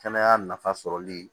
Kɛnɛya nafa sɔrɔli